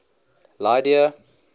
lydia